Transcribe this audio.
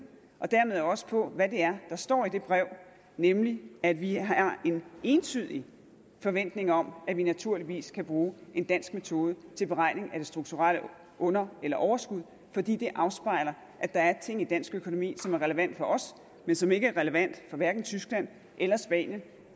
og dermed også på hvad det er der står i det brev nemlig at vi har en entydig forventning om at vi naturligvis kan bruge en dansk metode til beregning af det strukturelle under eller overskud fordi det afspejler at der er ting i dansk økonomi som er relevante for os men som ikke er relevante for hverken tyskland eller spanien